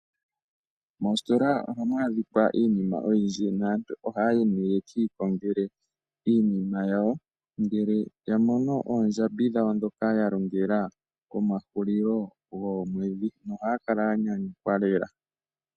Moositola ohamu adhika iinima oyindji naantu ohayi nee yekiikongele iinima yawo ngele yamono oondjambi dhawo dhoka yalongela komahulilo goomwedhi. Ohaya kala yanyanyukwa noonkondo.